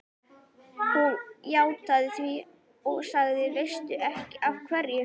Hún játti því og sagði: Veistu ekki af hverju?